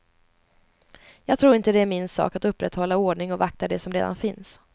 Jag tror inte det är min sak att upprätthålla ordning och vakta det som redan finns.